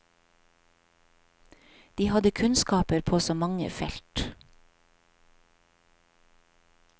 De hadde kunnskaper på så mange felt.